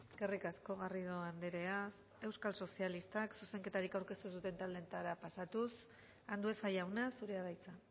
eskerrik asko garrido andrea euskal sozialistak zuzenketarik aurkeztu ez duten taldeetara pasatuz andueza jauna zurea da hitza